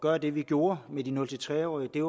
gøre det vi gjorde med de nul tre årige